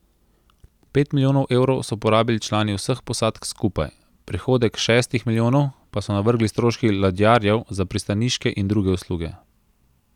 Pet milijonov evrov so porabili člani vseh posadk skupaj, prihodek šestih milijonov pa so navrgli stroški ladjarjev za pristaniške in druge usluge.